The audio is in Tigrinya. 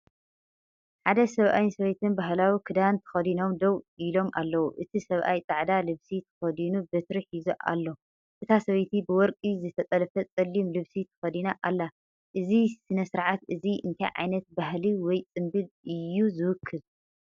ሓደ ሰብኣይን ሰበይትን ባህላዊ ክዳን ተኸዲኖም ደው ኢሎም ኣለዉ። እቲ ሰብኣይ ጻዕዳ ልብሲ ተኸዲኑ በትሪ ሒዙ ኣሎ። እታ ሰበይቲ ብወርቂ ዝተጠልፈ ጸሊም ልብሲ ተኸዲና ኣላ። እዚ ስነ-ስርዓት እዚ እንታይ ዓይነት ባህሊ ወይ ጽምብል እዩ ዝውክል?